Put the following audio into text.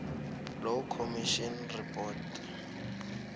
law commission report